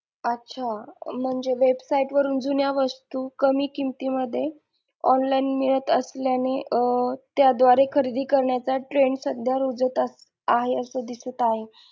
अच्छा म्हणजे website वरून जुन्या वस्तू कमी किमती मध्ये online मिळत असल्याने अं त्या द्वारे खरेदी करण्याचा trend सध्या रुजत आहे असं दिसत आहे.